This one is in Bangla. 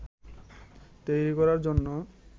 তৈরি করার জন্য